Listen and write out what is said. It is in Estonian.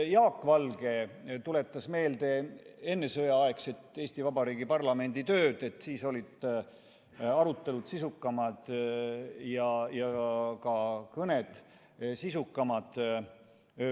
Jaak Valge tuletas meelde ennesõjaaegse Eesti Vabariigi parlamendi tööd, et siis olid arutelud sisukamad ja ka kõned sisukamad.